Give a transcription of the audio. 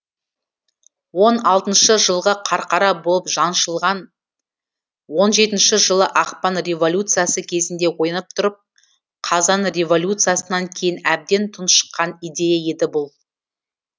он алтыншы жылғы қарқара болып жаншылған он жетінші жылы ақпан революциясы кезінде оянып тұрып қазан революциясынан кейін әбден тұншыққан идея еді бұл